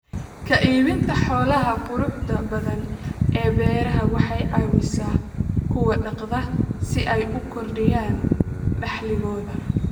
Ka iibinta xoolaha quruxda badan ee beeraha waxay caawisaa kuwa dhaqda si ay u kordhiyaan dakhligooda.